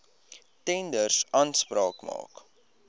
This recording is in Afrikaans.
tenders aanspraak maak